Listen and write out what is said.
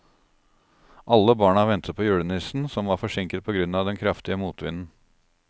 Alle barna ventet på julenissen, som var forsinket på grunn av den kraftige motvinden.